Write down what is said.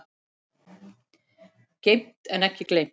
Geymt en ekki gleymt